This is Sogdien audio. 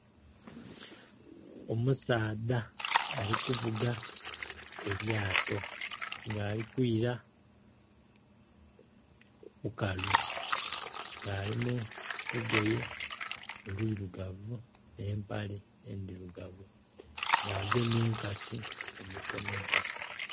Omusaadha ali kuvuga elyato nga ali kwila ku bukalu nga ali mu lugoye olwirugavu, n'empale endirugavu nga agemye enkasi mu mikono gye.